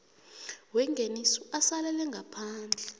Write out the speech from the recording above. wengeniso asalele ngaphandle